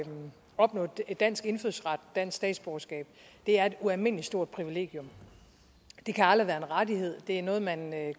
opnå dansk indfødsret dansk statsborgerskab er et ualmindelig stort privilegium det kan aldrig være en rettighed det er noget man